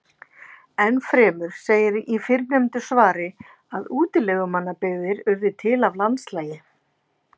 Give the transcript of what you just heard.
Enn fremur segir í fyrrnefndu svari að útilegumannabyggðir urðu til af landslagi: